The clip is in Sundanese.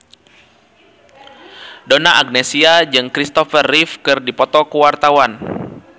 Donna Agnesia jeung Christopher Reeve keur dipoto ku wartawan